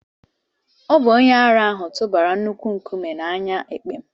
Ọ bụ onye ara ahụ tụbara nnukwu nkume na anya èkpè m